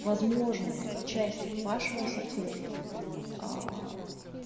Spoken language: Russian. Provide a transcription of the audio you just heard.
возможно часть вашего ассортимента аа